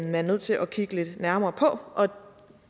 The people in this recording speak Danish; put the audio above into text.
man nødt til at kigge lidt nærmere på